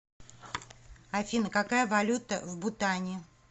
афина какая валюта в бутане